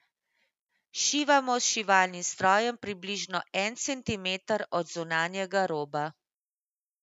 Šivamo s šivalnim strojem približno en centimeter od zunanjega roba.